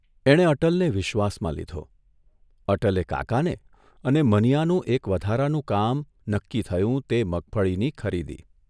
એણે અટલને વિશ્વાસમાં લીધો, અટલે કાકાને અને મનીયાનું એક વધારાનું કામ નક્કી થયું તે મગફળીની ખરીદી.